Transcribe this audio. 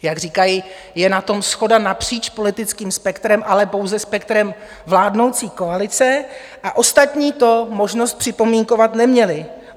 Jak říkají, je na tom shoda napříč politickým spektrem, ale pouze spektrem vládnoucí koalice, a ostatní to možnost připomínkovat neměli.